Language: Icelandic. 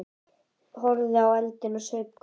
Horfði í eldinn og saup hveljur.